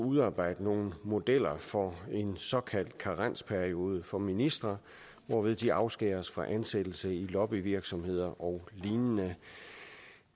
udarbejde nogle modeller for en såkaldt karensperiode for ministre hvorved de afskæres fra ansættelse i lobbyvirksomheder og lignende